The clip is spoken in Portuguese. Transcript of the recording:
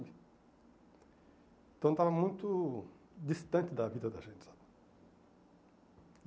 Então estava muito distante da vida da gente, sabe?